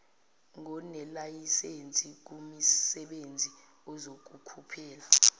ngonelayisense kumisebenzi ezokukhuphula